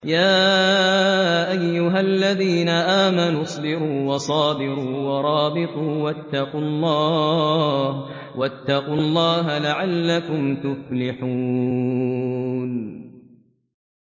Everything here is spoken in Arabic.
يَا أَيُّهَا الَّذِينَ آمَنُوا اصْبِرُوا وَصَابِرُوا وَرَابِطُوا وَاتَّقُوا اللَّهَ لَعَلَّكُمْ تُفْلِحُونَ